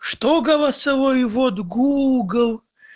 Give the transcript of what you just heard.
что голосовой ввод гугл